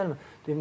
Necə gəlmədin?